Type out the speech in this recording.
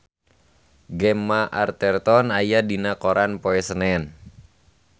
Gemma Arterton aya dina koran poe Senen